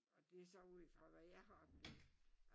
Og det så ud fra hvad jeg har oplevet